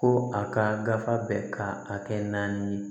Ko a ka gafe bɛ ka a kɛ naani ye